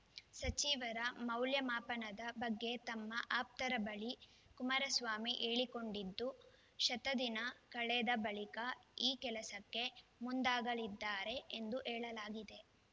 ಸಚಿವರ ಮೌಲ್ಯಮಾಪನದ ಬಗ್ಗೆ ತಮ್ಮ ಆಪ್ತರ ಬಳಿ ಕುಮಾರಸ್ವಾಮಿ ಹೇಳಿಕೊಂಡಿದ್ದು ಶತದಿನ ಕಳೆದ ಬಳಿಕ ಈ ಕೆಲಸಕ್ಕೆ ಮುಂದಾಗಲಿದ್ದಾರೆ ಎಂದು ಹೇಳಲಾಗಿದೆ